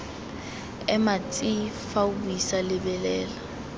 ema tsi fa o buisalebelela